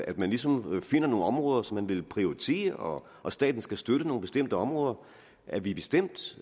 at man ligesom finder nogle områder som man vil prioritere og at staten skal støtte nogle bestemte områder er vi bestemt